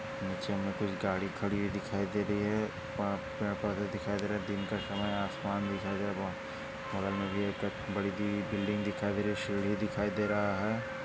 निचे में कुछ गाड़ी खड़ी हुई दिखाई दे रही हैं प पेड़ पौधे दिखाई दे रहे हैं दिन का समय हैं आसमान दिखाई दे रहा हैं बगल में भी एक बडीसी बिल्डिंग दिखाई दे रही हैं सीडी दिखाई दे रहा हैं।